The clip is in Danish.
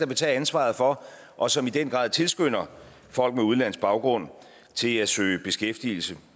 vil tage ansvaret for og som i den grad tilskynder folk med udenlandsk baggrund til at søge beskæftigelse